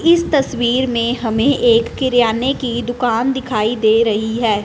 इस तस्वीर में हमें एक किरयाने की दुकान दिखाई दे रही है।